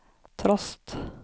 trost